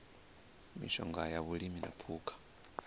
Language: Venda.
mishonga ya vhulimi na phukha